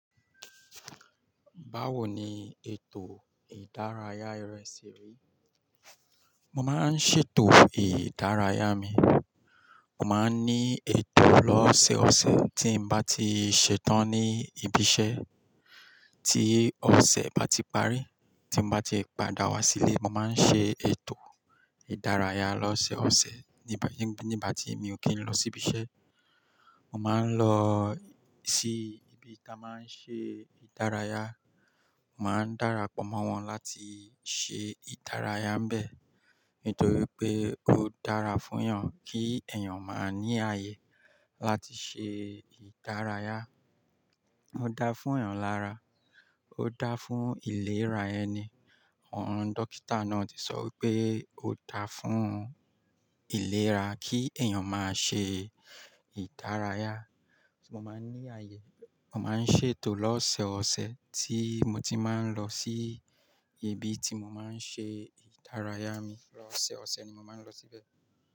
Báwo ni ètò ìdárayá rẹ ṣe rí? Mo máa ń ṣètò ìdárayá mi, mo máa ń ní ètò lọ́sẹ̀ọsẹ̀ tí mo bá ti ṣetán ní ibi iṣẹ́. Tí ọ̀sẹ̀ bati parí, tí n bá ti padà wá sílé mo máa ń ṣe ètò ìdárayá lọ́sọ̀sẹ̀, nígbàtí mi ò kí n lọ sí ibi iṣẹ́. Mo máa ń lọ sí ibi tí a máa ń ṣe ìdárayá, màá dárapọ̀ mọ́ wọn láti ṣe ìdárayá bẹ̀. Nítorí pé ó dára fún èèyàn kí èèyàn máa ní ààyè láti ṣe ìdárayá. Ó dáa fún èèyàn lára, ó dáa fún ìlera ẹni. Àwọn dókítà náà ti sọ wípé ó dáa fún ìlera kí èèyàn máa ṣe ìdárayá. Mo máa ń ní ààyè, mo máa ń ṣètò lọ́sọsẹ̀ tí mo ti máa ń lọ sí ibi tí mo máa ń ṣe ìdárayá mi. Lọ́sẹ̀ọsẹ̀ ni mo máa ń lọ síbẹ̀.